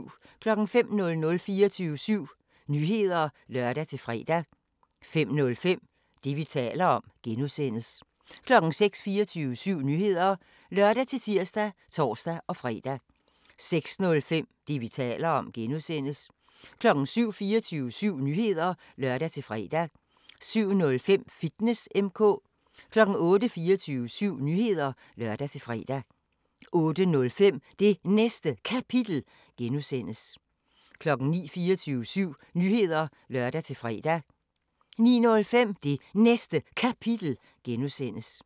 05:00: 24syv Nyheder (lør-fre) 05:05: Det, vi taler om (G) 06:00: 24syv Nyheder (lør-tir og tor-fre) 06:05: Det, vi taler om (G) 07:00: 24syv Nyheder (lør-fre) 07:05: Fitness M/K 08:00: 24syv Nyheder (lør-fre) 08:05: Det Næste Kapitel (G) 09:00: 24syv Nyheder (lør-fre) 09:05: Det Næste Kapitel (G)